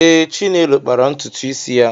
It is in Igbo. Ee, Chinelo kpara ntutu isi ya.